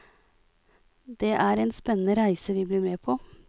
Det er en spennende reise vi blir med på.